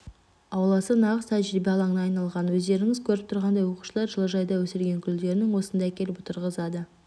ауласы нағыз тәжірибе алаңына айналған өздеріңіз көріп тұрғандай оқушылар жылыжайда өсірген гүлдерін осында әкеліп отырғызады